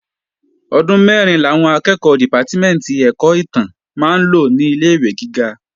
Ọdún mẹ́rin làwọn akẹ́ẹ̀kọ́ dìpátímẹ̀ntì ẹ̀kọ́ ìtàn máa ń lò ní ilé-ìwé gíga